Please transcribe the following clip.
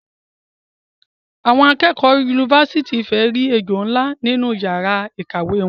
Awon akeekeo unifasiti Ifè ri ejo nla ninu iyara ikawe won